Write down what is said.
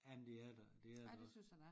Jamen det er der det er der også